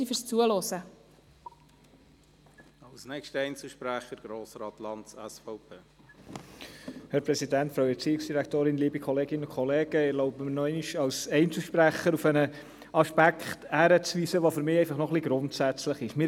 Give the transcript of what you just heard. Ich erlaube mir, jetzt noch als Einzelsprecher auf einen Aspekt hinzuweisen, der für mich etwas grundsätzlich ist.